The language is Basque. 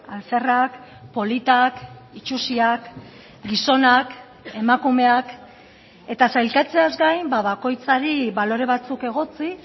alferrak politak itxusiak gizonak emakumeak eta sailkatzeaz gain bakoitzari balore batzuk egotzi